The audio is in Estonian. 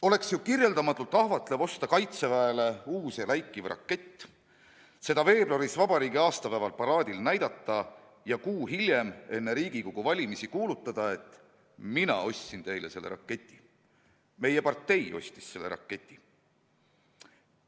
On ju kirjeldamatult ahvatlev osta Kaitseväele uus ja läikiv rakett, seda veebruaris vabariigi aastapäeval paraadil näidata ja kuu hiljem enne Riigikogu valimisi kuulutada, et mina ostsin teile selle raketi, meie partei ostis selle raketi.